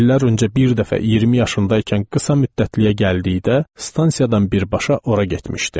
İllər öncə bir dəfə 20 yaşında ikən qısa müddətliyə gəldikdə, stansiyadan birbaşa ora getmişdim.